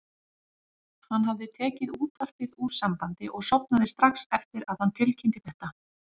Hann hafði tekið útvarpið úr sambandi og sofnað strax eftir að hann tilkynnti þetta.